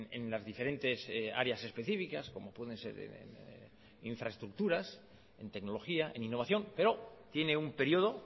en las diferentes áreas específicas como pueden ser infraestructuras en tecnología en innovación pero tiene un período